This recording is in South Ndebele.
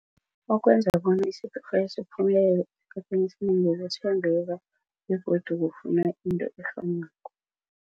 Okwenza bona istokfela esikhathini esinengi begodu kufuna into efanako.